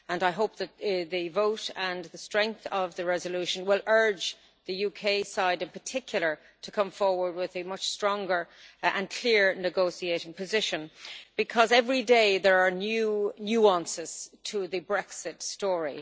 I hope that the vote and the strength of the resolution will urge the UK side, in particular, to come forward with a much stronger and clear negotiating position, because every day there are new nuances to the Brexit story.